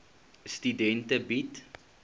studente bied